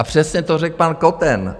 A přesně to řekl pan Koten.